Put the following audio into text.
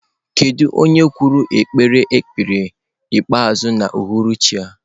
Kedu onye okwukwe kpere ekpere ikpeazụ n'uhuruchi a?